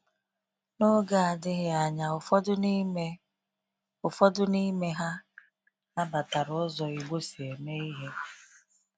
N’oge adịghị anya, ụfọdụ n’ime ụfọdụ n’ime ha nabatara ụzọ Igbo si eme ihe.